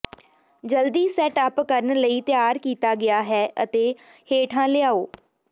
ਜਲਦੀ set up ਕਰਨ ਲਈ ਤਿਆਰ ਕੀਤਾ ਗਿਆ ਹੈ ਅਤੇ ਹੇਠਾਂ ਲਿਆਓ